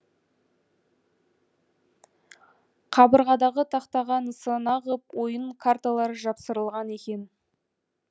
қабырғадағы тақтаға нысана ғып ойын карталары жапсырылған екен